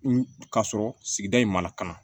Ka sɔrɔ sigida in mana